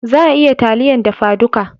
Za a iya yin taliyan dafa duka